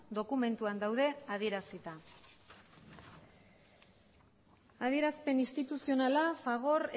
dokumentuan daude adierazita adierazpen instituzionala fagor